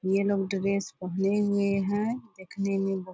ये लोग ड्रेस पहने हुए हैं देखने में बहोत --